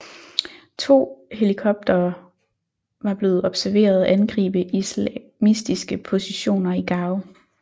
To helikoptere var blevet observeret angribe islamistiske positioner i Gao